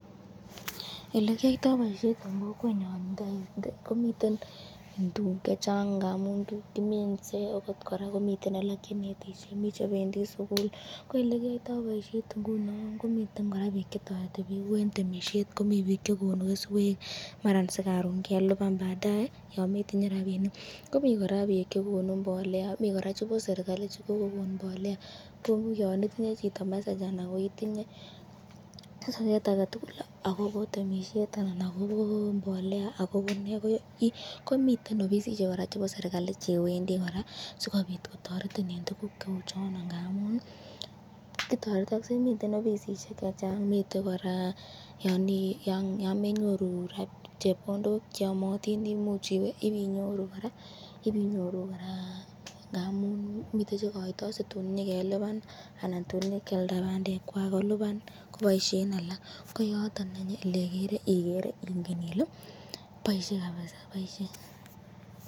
Elekiyoiyto boisyet eng kokwenyon ii.komiten tukuk chechang ngamun kiminsee akot koraa komiten alak chenetisye eng sukul, ko elekiyoulyto boisyet ingunon komiten bik chetoreti bik ku eng temisyet komiten nik chekonu keswek , Mara si karon keliban baadaye yometinye rabinik, komi koraa bik chekonu mbolea mi koraa chebo serikali chekokekon mbolea kou yon itinye chito message.